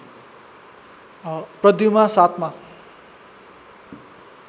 प्रध्युमा ७ मा